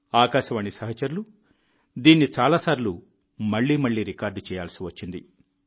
ఆకాశవాణి సహచరులు దీన్ని చాలాసార్లు మళ్ళీ మళ్ళీ రికార్డ్ చేయాల్సి వచ్చింది